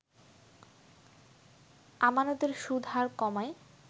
আমানতের সুদ হার কমায়